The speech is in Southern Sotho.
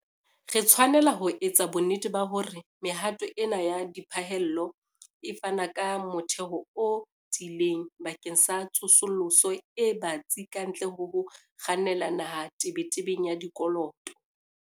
Re tshwanela ho etsa bonnete ba hore mehato ena ya diphallelo e fana ka motheo o tiileng bakeng sa tsosoloso e batsi kantle ho ho kgannela naha tebetebeng ya dikoloto.